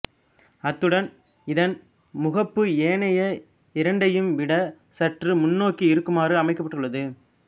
அத்துடன் இதன் முகப்பு ஏனைய இரண்டையும்விடச் சற்று முன்னோக்கி இருக்குமாறு அமைக்கப்பட்டுள்ளது